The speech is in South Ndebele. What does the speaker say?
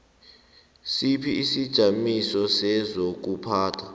sipha isijamiso sezokuphatha